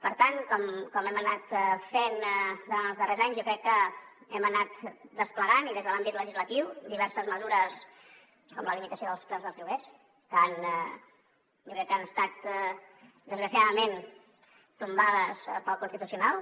per tant com hem anat fent durant els darrers anys jo crec que hem anat desplegant i des de l’àmbit legislatiu diverses mesures com la limitació dels preus dels lloguers que jo crec que han estat desgraciadament tombades pel constitucional